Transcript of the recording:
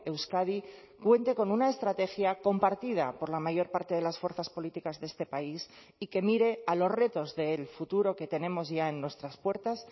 euskadi cuente con una estrategia compartida por la mayor parte de las fuerzas políticas de este país y que mire a los retos del futuro que tenemos ya en nuestras puertas